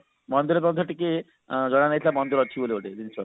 ମନ୍ଦିର ମଧ୍ୟ ଟିକେ ଜଣା ନଥିଲା ମନ୍ଦିର ଅଛି ବୋଲି ଗୋଟେ